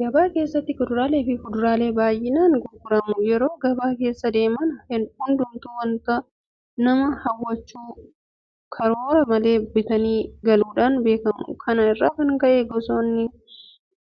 Gabaa keessatti kuduraaleefi fuduraaleen baay'inaan gurgurama. Yeroo gabaa keessa deeman hundumtuu waanta nama hawwatuuf karoora malee bitamanii galuudhaan beekamu. Kana irraa kan ka'e gosoonni